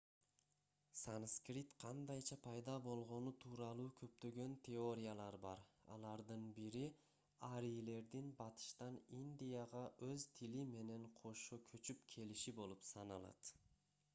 санскрит кандайча пайда болгону тууралуу көптөгөн теориялар бар алардын бири арийлердин батыштан индияга өз тили менен кошо көчүп келиши болуп саналат